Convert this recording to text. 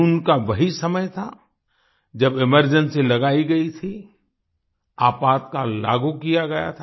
जून का वही समय था जब एमरजेंसी लगाई गई थी आपातकाल लागू किया गया था